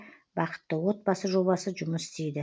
бақытты отбасы жобасы жұмыс істейді